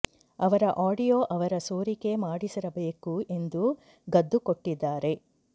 ಅವರ ಆಡಿಯೋ ಅವರೇ ಸೋರಿಕೆ ಮಾಡಿಸಿರಬೇಕು ಎಂದು ಗದ್ದು ಕೊಟ್ಟಿದ್ದಾರೆ